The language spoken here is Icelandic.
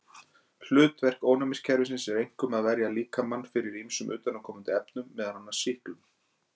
Hlutverk ónæmiskerfisins er einkum að verja líkamann fyrir ýmsum utanaðkomandi efnum, meðal annars sýklum.